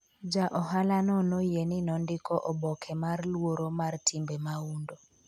Ja ohalano noyie ni nondiko oboke mar luoro mar timbe mahundu